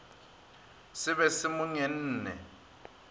se be se mo ngenne